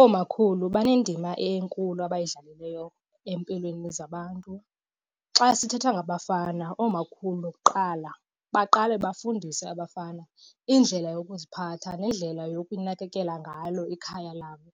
Oomakhulu banendima enkulu abayidlalileyo empilweni zabantu. Xa sithetha ngabafana oomakhulu kuqala baqale bafundise abafana indlela yokuziphatha nendlela yokunakekela ngalo ikhaya labo.